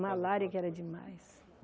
Malária que era demais.